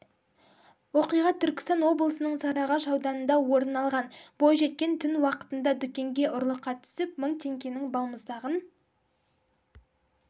оқиға түркістан облысының сарыағаш ауданында орын алған бойжеткен түн уақытында дүкенге ұрлыққа түсіп мың теңгенің балмұздағын